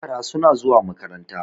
yara suna zuwa makaranta